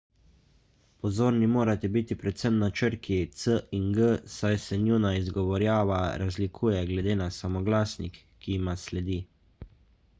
pozorni morate biti predvsem na črki c in g saj se njuna izgovorjava razlikuje glede na samoglasnik ki jima sledi